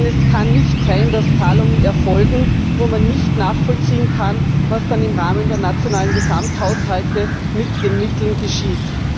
Denn es kann nicht sein, dass Zahlungen erfolgen, bei denen man nicht nachvollziehen kann, was dann im Rahmen der nationalen Gesamthaushalte mit den Mitteln geschieht.